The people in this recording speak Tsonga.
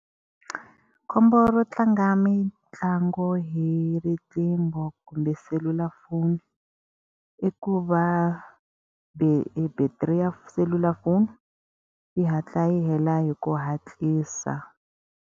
Khombo ro tlanga mitlangu hi riqingho kumbe selulafoni, i ku va battery ya selulafoni yi hatla yi hela hi ku hatlisa.